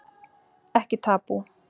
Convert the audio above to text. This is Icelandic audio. Ekki tabú